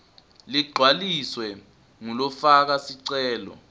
ligcwaliswe ngulofaka sicelo